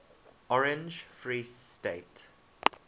orange free state